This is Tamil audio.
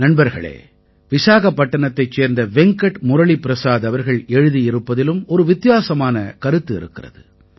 நண்பர்களே விசாகப்பட்டினத்தைச் சேர்ந்த வெங்கட் முரளிப்ரஸாத் அவர்கள் எழுதியிருப்பதிலும் ஒரு வித்தியாசமான கருத்து இருக்கிறது